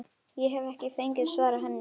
Ég hef ekki fengið að svara henni.